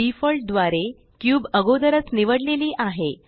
default द्वारे cube अगोदरच निवडलेली आहे